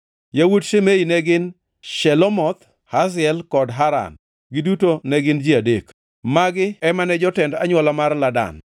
Yawuot Shimei ne gin: Shelomoth, Haziel kod Haran, giduto ne gin ji adek. Magi ema ne jotend anywola mar Ladan.